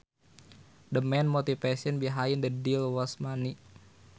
The main motivation behind the deal was money